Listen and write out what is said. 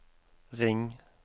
ring